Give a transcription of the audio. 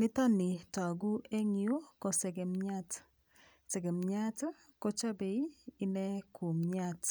Nitoni toku eng yu ko segemiat, segemiat kochobei inee kumyat.